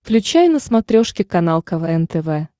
включай на смотрешке канал квн тв